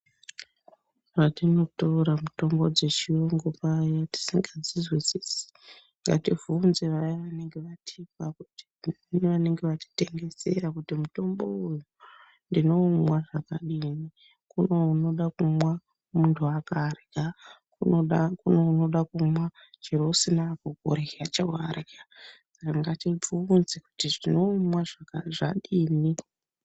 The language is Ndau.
Patinotora mutombo dzechiyungu paya, tisikadzizwisisi ngatibvunze vaya vanenge vatipa nevanenge vatitengesera kuti mutombo uyu ndinoumwa zvakadini, kuno unoda kumwa muntu akarya, kuno unoda kumwa chero usina kurya chawarya. Ngatibvunze kuti ndinoumwa zvadini?